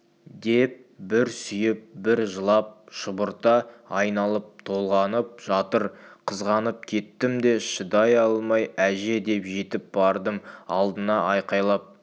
деп бір сүйіп бір жылап шұбырта айналып-толғанып жатыр қызғанып кеттім де шыдай алмай әже деп жетіп бардым алдына айқайлап